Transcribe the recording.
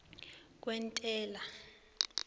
kwentela